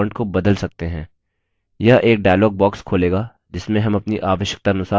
यह एक dialogue box खोलेगा जिसमें हम अपनी आवश्यकतानुसार फॉन्ट स्टाइल और साइज़ सेट कर सकते हैं